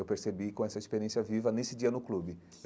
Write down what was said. Eu percebi com essa experiência viva nesse dia no clube.